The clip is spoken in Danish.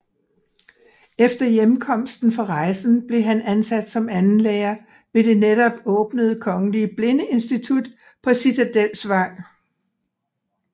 Efter hjemkomsten fra rejsen blev han ansat som andenlærer ved det netop åbnede kongelige blindeinstitut på Citadelsvej